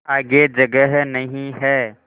आगे जगह नहीं हैं